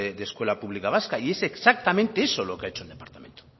de escuela pública vasca y es exactamente eso lo que ha hecho el departamento